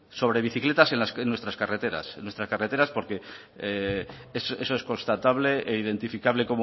sobre bicicletas en nuestras carreteras porque eso es constatable e identificable